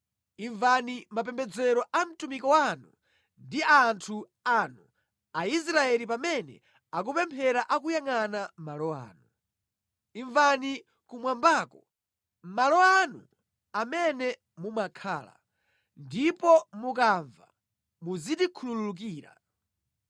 Imvani mapembedzero a mtumiki wanu ndi a anthu anu Aisraeli pamene akupemphera akuyangʼana malo ano. Imvani kumwambako, malo anu amene mumakhala; ndipo mukamva muzitikhululukira.